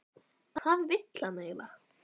Hvað vill hann eiginlega?